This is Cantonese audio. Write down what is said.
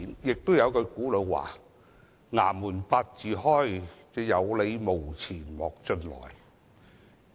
還有一句古老說話："衙門八字開，有理無錢莫進來"。